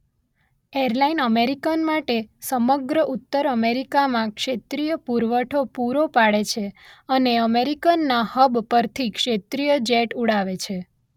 Airline American માટે સમગ્ર ઉત્તર અમેરિકામાં ક્ષેત્રીય પુરવઠો પુરો પાડે છે અને અમેરિકનના હબ પરથી ક્ષેત્રીય જેટ ઉડાવે છે.